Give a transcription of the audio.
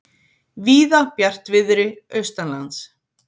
Víða bjartviðri austanlands